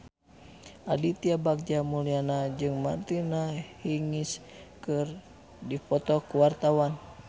Aditya Bagja Mulyana jeung Martina Hingis keur dipoto ku wartawan